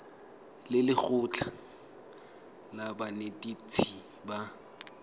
le lekgotlha la banetetshi ba